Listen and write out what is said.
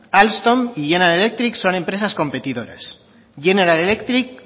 alstom y general electric son empresas competidoras general electric